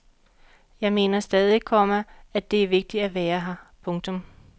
Jeg mener stadig, komma at det er vigtigt at være her. punktum